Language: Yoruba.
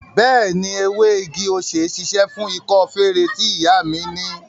Bẹẹni, ewé igi-osè ṣíṣe fún ikọ́ feré tí ìyá mi ni